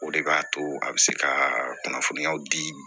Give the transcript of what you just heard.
O de b'a to a bɛ se ka kunnafoniyaw di